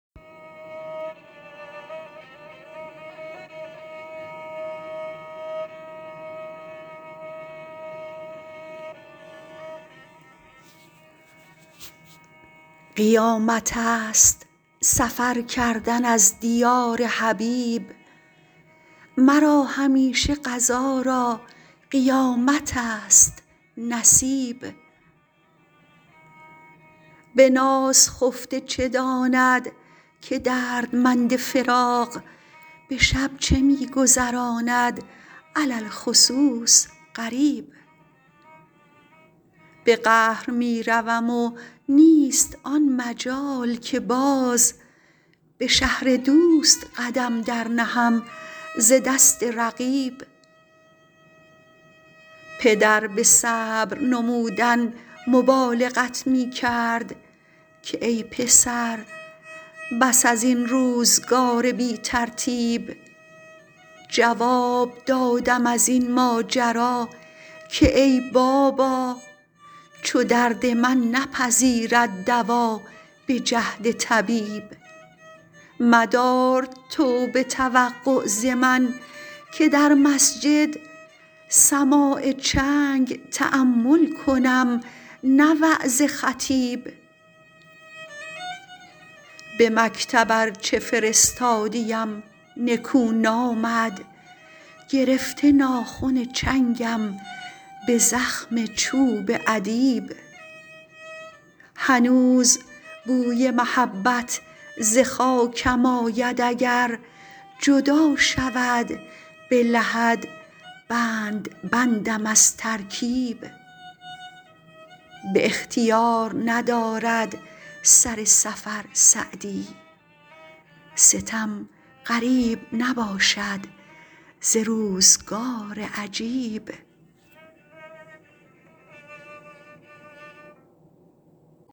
قیامتست سفر کردن از دیار حبیب مرا همیشه قضا را قیامتست نصیب به ناز خفته چه داند که دردمند فراق به شب چه می گذراند علی الخصوص غریب به قهر می روم و نیست آن مجال که باز به شهر دوست قدم در نهم ز دست رقیب پدر به صبر نمودن مبالغت می کرد که ای پسر بس از این روزگار بی ترتیب جواب دادم از این ماجرا که ای بابا چو درد من نپذیرد دوا به جهد طبیب مدار توبه توقع ز من که در مسجد سماع چنگ تأمل کنم نه وعظ خطیب به مکتب ارچه فرستادی ام نکو نامد گرفته ناخن چنگم به زخم چوب ادیب هنوز بوی محبت ز خاکم آید اگر جدا شود به لحد بند بندم از ترکیب به اختیار ندارد سر سفر سعدی ستم غریب نباشد ز روزگار عجیب